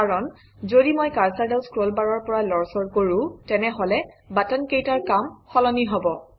কাৰণ যদি মই কাৰচৰডাল স্ক্ৰলবাৰৰ পৰা লৰচৰ কৰোঁ তেনেহলে বাটনকেইটাৰ কাম সলনি হব